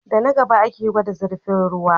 Da na gaba ake gwada zirfin ruwa